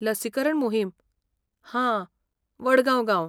लसीकरण मोहीम, हां, वडगांव गांव.